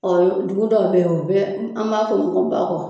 dugu dɔ bɛ ye u bɛ an b'a fɔ o ma ko Bakɔ.